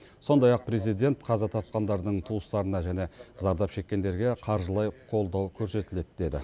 сондай ақ президент қаза тапқандардың туыстарына және зардап шеккендерге қаржылай қолдау көрсетіледі деді